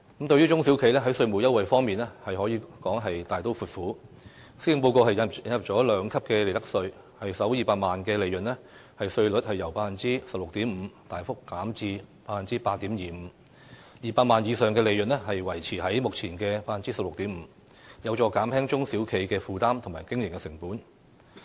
在中小型企業的稅務優惠方面，施政報告可說是"大刀闊斧"，引入兩級利得稅，企業首200萬元利潤的利得稅率由 16.5% 大幅減至 8.25%，200 萬元以上利潤的稅率則維持在目前的 16.5%， 有助減輕中小企的負擔和經營成本。